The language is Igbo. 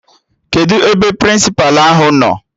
Kedụ ebe Prịnsịpa ahụ nọ?